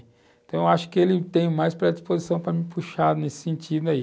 Então eu acho que ele tem mais predisposição para me puxar nesse sentido aí.